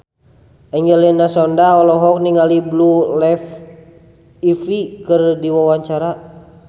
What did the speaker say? Angelina Sondakh olohok ningali Blue Ivy keur diwawancara